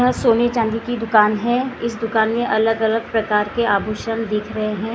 यह सोने चांदी की दुकान हैं इस दुकान मैं अलग अलग प्रकार के आभूषण दिख रहे हैं।